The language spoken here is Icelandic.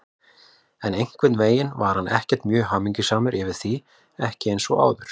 En einhvern veginn var hann ekkert mjög hamingjusamur yfir því, ekki eins og áður.